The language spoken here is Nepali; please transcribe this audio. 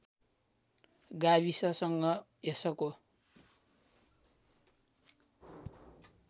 गाविससँग यसको